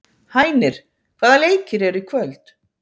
Hænir, hvaða leikir eru í kvöld?